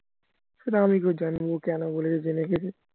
সেটা আমি কি করে জানবো ও কেন বলেছে জেনেগেছে